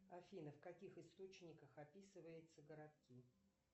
афина в каких источниках описывается городки